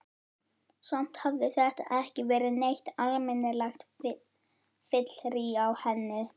Samt hafði þetta ekki verið neitt almennilegt fyllirí á henni.